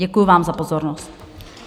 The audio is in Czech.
Děkuji vám za pozornost.